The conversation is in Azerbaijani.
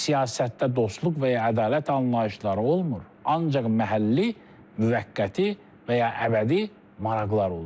Siyasətdə dostluq və ya ədalət anlayışları olmur, ancaq məhəlli, müvəqqəti və ya əbədi maraqlar olur.